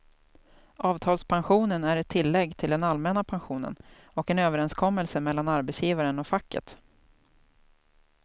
Avtalspensionen är ett tillägg till den allmänna pensionen och en överenskommelse mellan arbetsgivaren och facket.